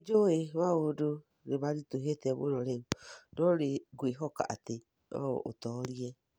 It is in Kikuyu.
Nĩ njũĩ maũndũ nĩ maritũhĩte mũno rĩu, no nĩ ngwĩhoka atĩ no ũtoorie